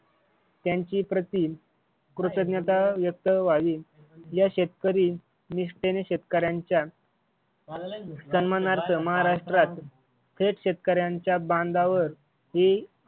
त्यांच्याप्रती कृतज्ञता व्यक्त व्हावी या शेतकरी निष्ठेने शेतकऱ्यांच्या सन्मानार्थ महाराष्ट्रात थेट शेतकऱ्यांचा बांधावर